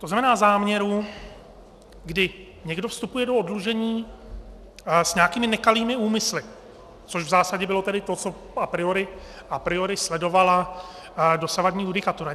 To znamená záměru, kdy někdo vstupuje do oddlužení s nějakými nekalými úmysly, což v zásadě bylo tedy to, co a priori sledovala dosavadní judikatura.